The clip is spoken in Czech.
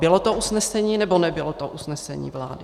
Bylo to usnesení, nebo nebylo to usnesení vlády?